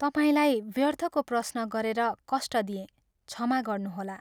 तपाईंलाई व्यर्थको प्रश्न गरेर कष्ट दिएँ, क्षमा गर्नुहोला।